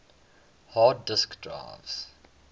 hard disk drives